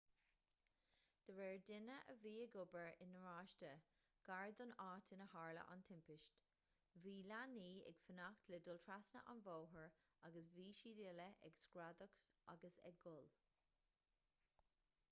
de réir duine a bhí ag obair i ngaráiste gar don áit inar tharla an timpiste bhí leanaí ag fanacht le dul trasna an bhóthair agus bhí siad uile ag screadach agus ag gol